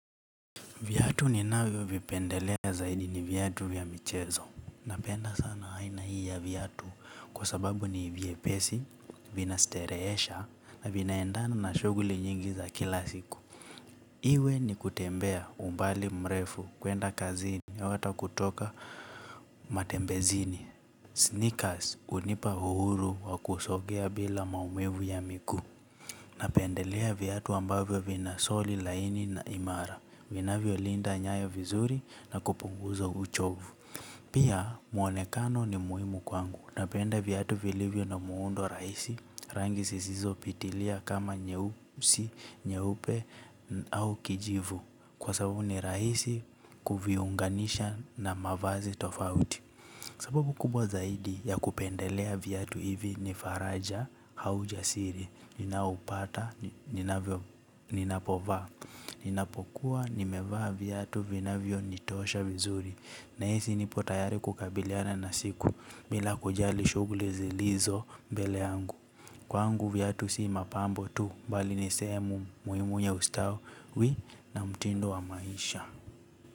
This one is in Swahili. Viatu ninavyo vipendelea zaidi ni vyatu ya michezo. Napenda sana aina hii ya viatu kwa sababu ni vyepesi vinasterehesha na vinaendana na shughuli nyingi za kila siku. Iwe ni kutembea umbali mrefu, kwenda kazini, au hata kutoka matembezini, sneakers, hunipa uhuru wa kusogea bila maumivu ya miguu. Napendelea viatu ambavyo vina soli laini na imara vinavyolinda nyayo vizuri na kupunguza uchovu. Pia muonekano ni muhimu kwangu. Napenda viatu vilivyo na muundo rahisi. Rangi zisizopitilia kama nyeusi nyeupe au kijivu. Kwa sababu ni rahisi kuviunganisha na mavazi tofauti. Sababu kubwa zaidi ya kupendelea viatu hivi ni faraja au ujasiri ninaoupata, ninavyo ninapovaa ninapokuwa, nimevaa viatu vinavyonitosha vizuri nahisi nipo tayari kukabiliana na siku. Bila kujali shughuli zilizo mbele yangu. Kwangu viatu si mapambo tu bali ni sehemu muhimu ya ustawi na mtindo wa maisha.